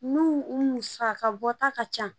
N'u musaka bɔta ka ca